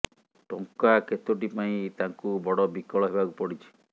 ଟଙ୍କା କେତୋଟି ପାଇଁ ତାଙ୍କୁ ବଡ ବିକଳ ହେବାକୁ ପଡିଛି